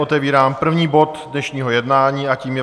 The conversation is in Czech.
Otevírám první bod dnešního jednání a tím je